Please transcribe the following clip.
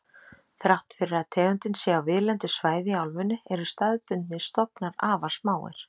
Þrátt fyrir að tegundin sé á víðlendu svæði í álfunni eru staðbundnir stofnar afar smáir.